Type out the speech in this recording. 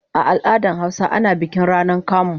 A al'adar Hausawa ana bikin rana kamu.